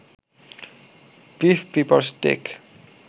beef pepper stake